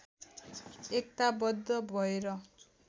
एकताबद्ध भएर